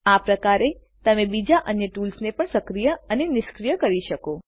આ પ્રકારેતમે બીજા અન્ય ટૂલ્સને પણ સક્રિય અને નિષ્ક્રિય કરી શકો